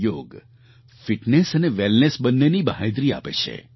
યોગ ફિટનેસ અને વૅલનેસ બંનેની બાંહેધરી આપે છે